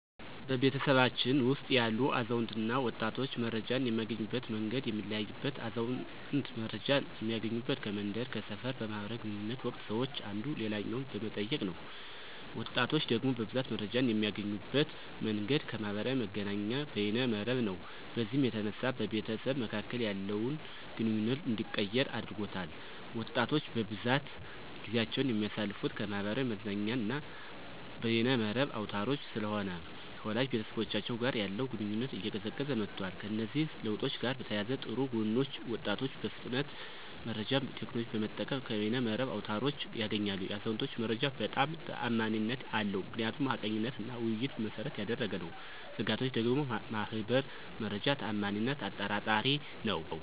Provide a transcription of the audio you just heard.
በቤተሰባችን ውስጥ ያሉ አዛውንትና ወጣቶች መረጃን የሚያገኙበት መንገድ የሚለያይበት አዛውንት መረጃን እሚያገኙበት ከመንደር፥ ከሰፈር በማህበር ግንኙነት ወቅት ሰወች አንዱ ሌላኛውን በመጠየቅ ነው። ወጣቶች ደግሞ በብዛት መረጃን የሚያገኙበት መንገድ ከማህበራዊ መገናኛና በየነ መረብ ነው። በዚህም የተነሳ በቤተሰብ መካከል ያለውን ግንኙነት እንዲቀየር አድርጎታል። ወጣቶች በብዛት ጊዜአቸውን የሚያሳልፍት ከማህበራዊ መዝናኛና በየነ መረብ አውታሮች ስለሆነ ከወላጅ ቤተሰቦቻቸው ጋር ያለው ግንኙነት እየቀዘቀዘ መጧል። ከእነዚህ ለውጦች ጋር በተያያዘ ጥሩ ጎኖች ወጣቶች በፍጥነት መረጃን ቴክኖሎጅን በመጠቀም ከየነ መረብ አውታሮች ያገኛሉ። የአዛውንቶች መረጃ በጣም ተአማኒነት አለው ምክንያቱም ሀቀኝነትና ውይይትን መሰረት ያደረገ ነው። ስጋቶች ደግሞ ማህበር መረጃ ተአማኒነት አጠራጣሪ ነዉ።